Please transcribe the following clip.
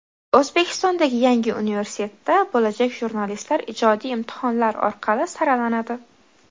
O‘zbekistondagi yangi universitetda bo‘lajak jurnalistlar ijodiy imtihonlar orqali saralanadi.